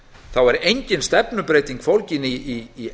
þá er engin stefnubreyting fólgin í